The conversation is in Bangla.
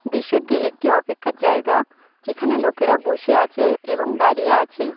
দৃশ্যটি একটি অপেক্ষার জায়গা যেখানে লোকেরা বসে আছে এবং দাঁড়িয়ে আছে।